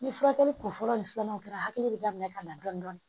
Ni furakɛli kun fɔlɔ ni filanan o kɛra hakili bɛ daminɛ ka na dɔɔnin dɔɔnin